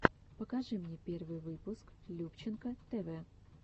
покажи мне первый выпуск любченко тэвэ